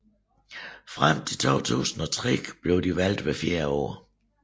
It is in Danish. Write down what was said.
Frem til 2003 blev de valgt hvert fjerde år